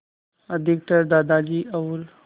अधिकतर दादा और